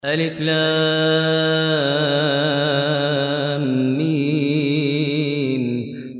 الم